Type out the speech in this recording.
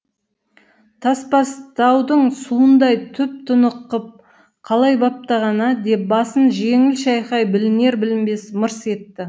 тасбастаудың суындай тұп тұнық қып қалай баптаған ә деп басын жеңіл шайқай білінер білінбес мырс етті